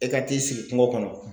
E ka t'i sigi kungo kɔnɔ